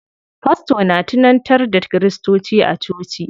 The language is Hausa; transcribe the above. Fasto na tunantar da kiristoci a coci.